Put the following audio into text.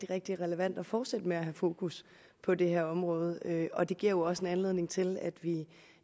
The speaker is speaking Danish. rigtig relevant at fortsætte med at have fokus på det her område og det giver jo også anledning til at vi